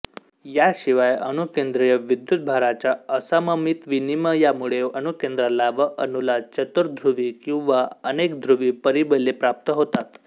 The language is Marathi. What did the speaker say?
याशिवाय अणुकेंद्रीय विद्युत् भाराच्या असममित विनिमयामुळे अणुकेंद्राला व अणूला चतुर्ध्रुवी किंवा अनेकध्रुवी परिबले प्राप्त होतात